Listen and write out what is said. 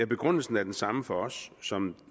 begrundelsen er den samme for os som